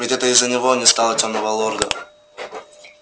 ведь это из-за него не стало тёмного лорда